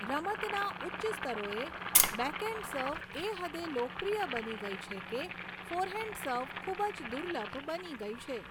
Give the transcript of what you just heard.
રમતના ઉચ્ચ સ્તરોએ, બેકહેન્ડ સર્વ એ હદે લોકપ્રિય બની ગઈ છે કે ફૉરહેન્ડ સર્વ ખૂબ જ દુર્લભ બની ગઈ છે.